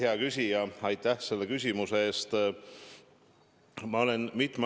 Hea küsija, aitäh selle küsimuse eest!